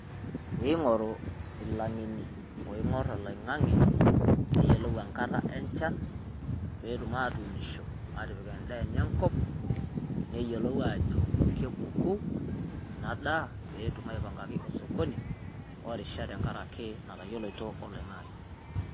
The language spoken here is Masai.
Pee ing'oru Ilang'eni ooing'orr oloing'ang'e neyiolou enkata enchan, pee etum aatuunisho neyiolou aajo kepuku ina daa pee etum aipangaki osokoni orishat tenkaraki natayioloito oloing'ang'e.